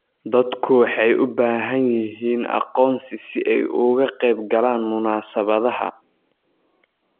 Dadku waxay u baahan yihiin aqoonsi si ay uga qaybgalaan munaasabadaha.